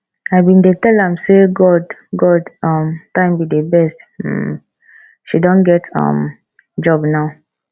i bin dey tell am say god god um time be the best um she don get um job now